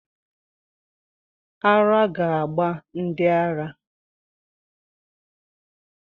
Ara ga gba ndi ara